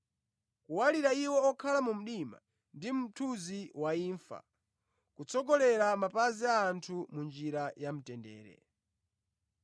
kuwalira iwo okhala mu mdima ndi mu mthunzi wa imfa, kutsogolera mapazi athu mu njira yamtendere.”